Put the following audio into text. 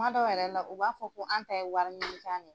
Kumadɔw yɛrɛ la u b'a fɔ ko an ta ye wari ɲini kan de ye.